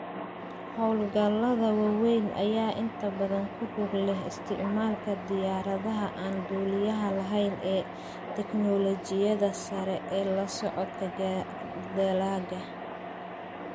Hawlgallada waaweyn ayaa inta badan ku lug leh isticmaalka diyaaradaha aan duuliyaha lahayn ee teknoolojiyadda sare ee la socodka dalagga.